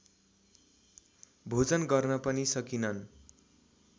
भोजन गर्न पनि सकिनन्